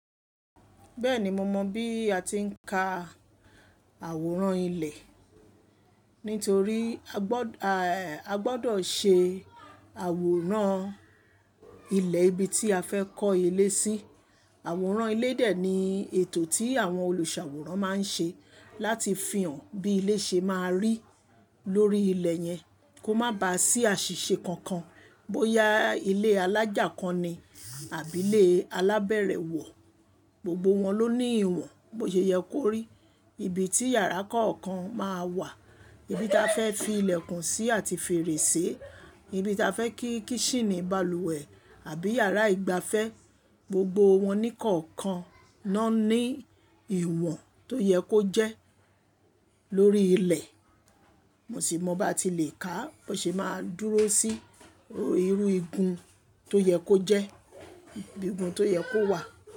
Bẹ́ẹ̀ni mo mọ̀ bí a ti ń ka àwòrán ilé. Nítorí a gbọ́dọ̀, a gbọ́dọ̀ ṣe àwòrán ilé ibi tí a fẹ́ kọ́ ilé sí. Àwòrán ilé dè ní ètò tí àwọn olùṣàwòrán máa ń ṣe láti fihàn bí ilé ṣe máa rí lórí ilẹ̀ yẹn. Kó má ba à sí àṣìṣe kankan. Bóyá ilé alájà kan ni àbí ilé alábẹ̀rẹ̀ wọ̀, gbogbo wọn ló ní ìwọ̀n bósẹ́yẹ́ kó rí. Ibi tí yàrá kọ̀ọ̀kan máa wà, ibi ta fẹ́ fi ilẹ̀kùn sí àti fèrèsé, ibi ta fẹ́ kí kíṣínì balùwẹ̀ àbí yàrá ìgbafẹ́, gbogbo wọn ní kọ̀ọ̀kan ná ní ìwọ̀n tó yẹ kó jẹ́ lórí ilẹ̀. Mo sì mọ bá ti lè ká bóyẹ́ ṣe máa dúró sí irú igun tó yẹ kó jẹ́, igun tó yẹ kó wà.